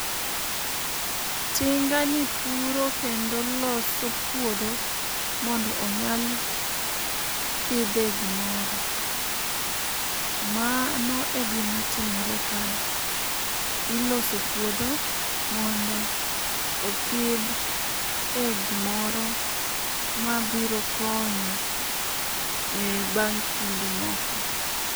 Tingani puro kendo loso puodho mondo onyal pidhe gimoro. Mano egima timore kae. Iloso puodho mondo opidh egimoro mabiro konyo ebang' kinde moko.